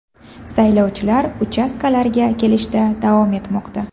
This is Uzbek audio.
Saylovchilar uchastkalarga kelishda davom etmoqda.